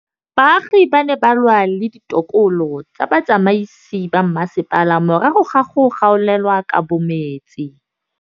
Baagi ba ne ba lwa le ditokolo tsa botsamaisi ba mmasepala morago ga go gaolelwa kabo metsi